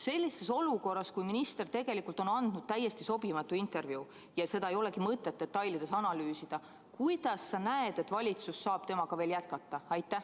Sellises olukorras, kui minister on andnud täiesti sobimatu intervjuu – seda ei olegi mõtet detailides analüüsida –, kuidas sa näed, et valitsus saab temaga veel jätkata?